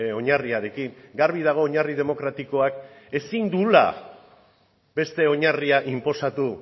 oinarriarekin garbi dago oinarri demokratikoak ezin duela beste oinarria inposatu